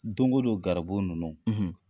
Don go don garibu ninnu